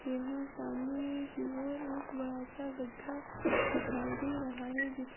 यहां सामने की ओर एक बड़ा सा गड्ढा दिखाई दे रहा है जिस --